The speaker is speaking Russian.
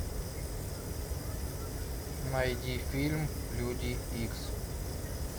найди фильм люди икс